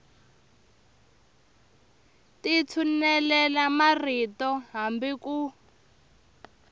ti tshulela marito hambi ku